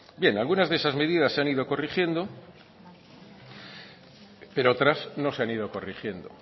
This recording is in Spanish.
bien algunas de esas medidas se han ido corrigiendo pero otras no se han ido corrigiendo